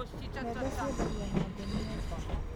Mbembe ciendagio na ngũnia.